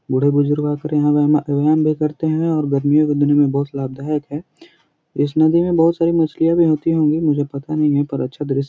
बूढ़े बुजुरग फिर आकर यहाँ व्मा भी करते हैं और गर्मियों के दिनो में बहुत लाभदायक हैं इस नदी में बहुत सारी मछलियाँ भी होती होंगी मुझे पता नहीं है पर अच्छा दृश्य --